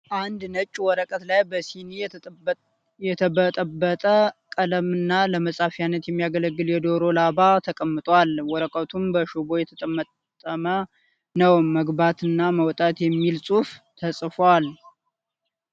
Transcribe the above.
አንድ ነጭ ወረቀት ላይ በሲኒ የተበጠበጠ ቀለም እና ለመጻፊያ የሚያገለግል የደሮ ላባ ተቀምጧል ። ወረቀቱም በሽቦ የተጠመጠመ ነው ። መግባት እና መውጣት የሚል ጽሁፍ ተጽፎበታል ።